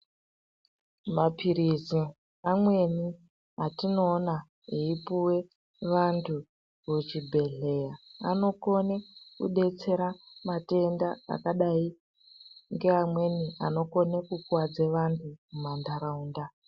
Maphirizi amweni atinoona eipuwe vantu kuchibhedhleya anokone kudetsera matenda akadai ngeamweni anokone kukuwadza antu mumantaraunda.